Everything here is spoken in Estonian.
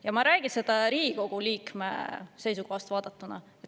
Ja ma ei räägi seda Riigikogu liikme seisukohast vaadatuna.